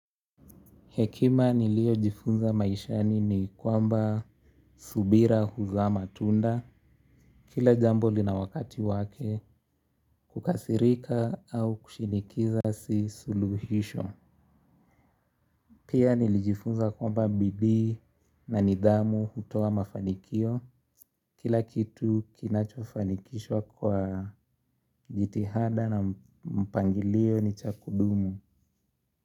Hekima niliyojifunza maishani ni kwamba subira huzaa matunda. Kila jambo lina wakati wake kukasirika au kushinikiza si suluhisho. Pia nilijifunza kwamba bidii na nidhamu hutoa mafanikio. Kila kitu kinachofanikishwa kwa jitihada na mpangilio ni cha kudumu.